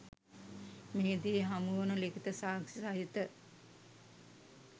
මෙහිදී හමුවන ලිඛිත සාක්‍ෂි සහිත